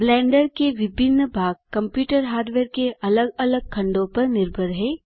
blender के विभिन्न भाग कंप्यूटर हार्डवेयर के अलग अलग खंडों पर निर्भर हैं